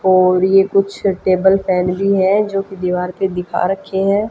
और ये कुछ टेबल फैन भी हैं जो कि दीवार पे दिखा रखे हैं।